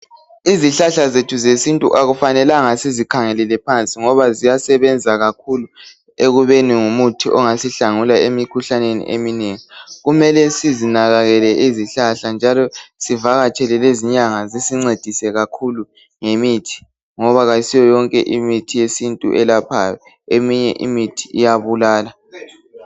Izihlahla zethu zesintu akufanelanga sizikhangelele phansi ngoba ziyasebenza kakhulu ekubeni ngumuthi ongasihlangula emikhuhlaneni eminengi. Kumele sizinakekele izihlahla njalo sivakatshele lezinyanga zisincesise kakhulu ngoba ayisiyo yonke imithi yesintu eyelaphayo eminye iyabulala.